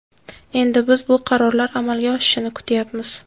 Endi biz bu qarorlar amalga oshishini kutayapmiz.